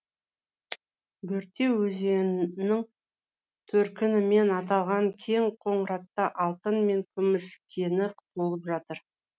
бөрте өзеннің төркінімен аталған кең қоңыратта алтын мен күміс кені толып жатыр